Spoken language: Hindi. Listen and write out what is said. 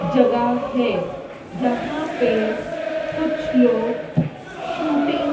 जगह है जहां पे कुछ लोग शूटिंग --